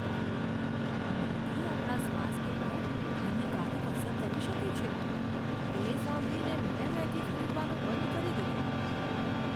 Maggi આપણા સ્વાસ્થ્ય પર હાનિકારક અસર કરી શકે છે, તે સાંભળીને મેં મેગી ખરીદવાનું બંધ કરી દીધું.